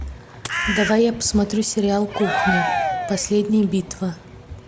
давай я посмотрю сериал кухня последняя битва